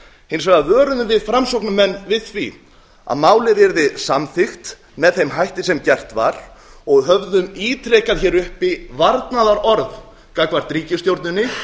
hins vegar vöruðum við framsóknarmenn við því að málið yrði samþykkt með þeim hætti sem gert var og höfðum ítrekað hér uppi varnaðarorð gagnvart ríkisstjórninni